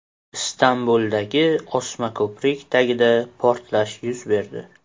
Istanbuldagi osma ko‘prik tagida portlash yuz berdi.